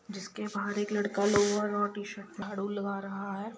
जिस के बाहर एक लड़का लोअर और टीशर्ट झाड़ू लगा रहा है।